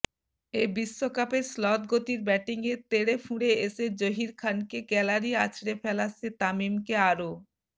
এ বিশ্বকাপের শ্লথ গতির ব্যাটিংয়ে তেড়েফুঁড়ে এসে জহীর খানকে গ্যালারি আছড়ে ফেলা সে তামিমকে আরও